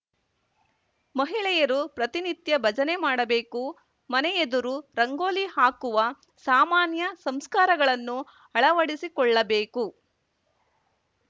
ಮಹಿಳೆಯರು ಪ್ರತಿನಿತ್ಯ ಭಜನೆ ಮಾಡಬೇಕು ಮನೆಯೆದುರು ರಂಗೋಲಿ ಹಾಕುವ ಸಾಮಾನ್ಯ ಸಂಸ್ಕಾರಗಳನ್ನು ಅಳವಡಿಸಿಕೊಳ್ಳಬೇಕು